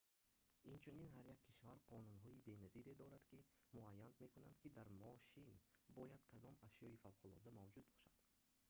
инчунин ҳар як кишвар қонунҳои беназире дорад ки муайян мекунанд ки дар мошин бояд кадом ашёи фавқулодда мавҷуд бошад